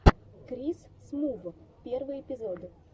крис смув первый эпизод